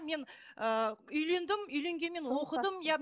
мен ііі үйлендім үйленгенмен оқыдым иә